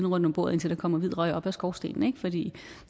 rundt om bordet indtil der kommer hvid røg op af skorstenen for det